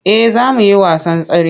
Eh za mu yi wasan tsare.